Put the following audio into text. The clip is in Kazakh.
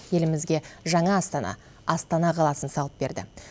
елімізге жаңа астана астана қаласын салып берді